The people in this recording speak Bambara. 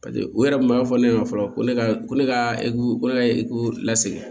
paseke u yɛrɛ kun b'a fɔ ne ɲɛna fɔlɔ ko ne ka ko ne ka ko ne ka ekɔli lasegin